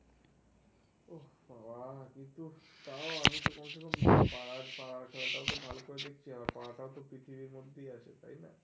ওহ বাবা তুই তো পাড়ার পাড়ার খেলাটা তো ভাল করে দেখছি. আবার পারাটাও তো পৃথিবীর মধ্যে আছে. তাই না?